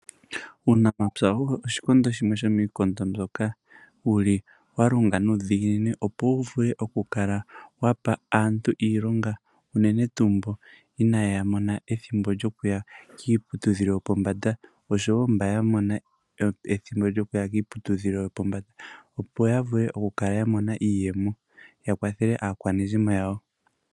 Uunamapya owo oshikondo shimwe shomiikondo mbyoka yili yalonga nuudhiginini opo wuvule okukala wapa aantu iilonga, uunene tuu mboka inaya mona ethimbo lyokuya kiiputudhilo yopombanda osho wo mboka yamona ethimbo lyokuya kiiputudhilo yopombanda opo yavule okukala yamona iiyemo, yakwathele aakwanezimo yawo.